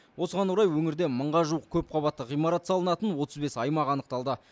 осыған орай өңірде мыңға жуық көпқабатты ғимарат салынатын отыз бес аймақ анықталды